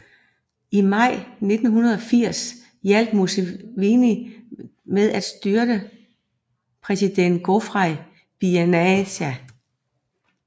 I maj 1980 hjalp Museveni med at styrte præsident Godfrey Binaisa